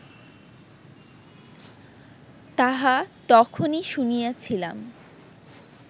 তাহা তখনই শুনিয়াছিলাম